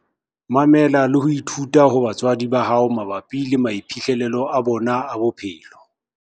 Mamela le ho ithuta ho batswadi ba hao mabapi le maiphihlelo a bona a bophelo.